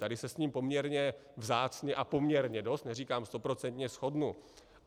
Tady se s ním poměrně vzácně a poměrně dost, neříkám stoprocentně, shodnu.